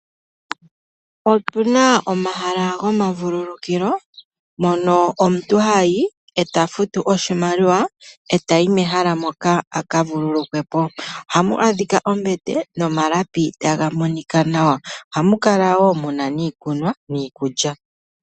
Otuna omahala gomavululukilo mono omuntu hayi e ta futu oshimaliwa e tayi mehala moka a kavululukwe po ohamu adhika ombete nomalapi taga monika nawa, ohamu kala wo muna iikunwa niikulya.